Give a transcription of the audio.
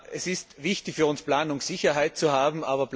Es ist wichtig für uns, Planungssicherheit zu haben.